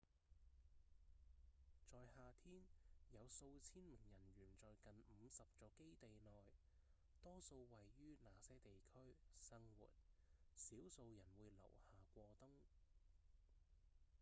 在夏天有數千名人員在近五十座基地內多數位於那些地區生活；少數人會留下過冬